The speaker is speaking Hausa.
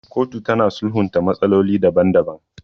Kotu tana sulhunta matsaloli daban daban.